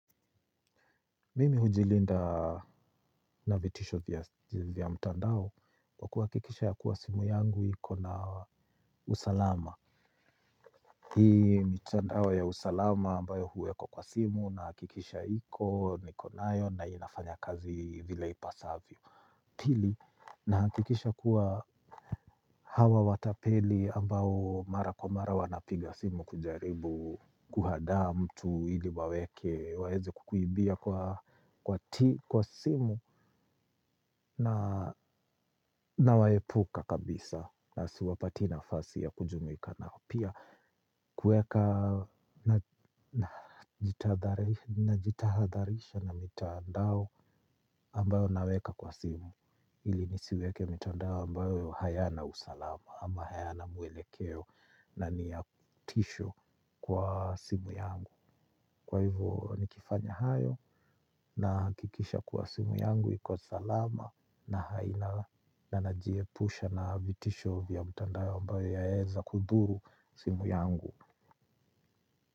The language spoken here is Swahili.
Mimi hujilinda na vitisho vya mtandao kwa kuhakikisha ya kuwa simu yangu iko na usalama. Hii mitandao ya usalama ambayo huwekwa kwa simu nahakikisha iko niko nayo na inafanya kazi vile ipasavyo. Pili nahakikisha kuwa hawa watapeli ambao mara kwa mara wanapiga simu kujaribu kuhadaa mtu ili waweke waweze kukuibia kwa kwa simu. Nawaepuka kabisa na siwapatii nafasi ya kujumuika nao pia kuweka najitahadharisha na mitandao ambayo naweka kwa simu ili nisiweke mitandao ambayo hayana usalama ama hayana mwelekeo na niya tisho kwa simu yangu. Kwa hivyo nikifanya hayo nahakikisha kuwa simu yangu iko salama na haina na najiepusha na vitisho vya mitandao ambayo yaeza kudhuru simu yangu.